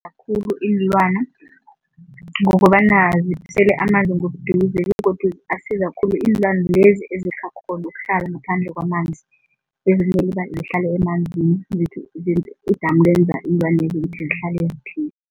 Khulu iinlwana ngokobana zisela amanzi ngobuduze begodu asiza khulu iinlwana lezi ezisakghoni ukuhlala ngaphandle kwamanzi, ezinye zihlala emanzini idamu lwenza iinlwanezi ukuthi zihlale ziphila.